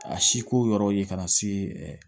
A si ko yɔrɔ ye ka na se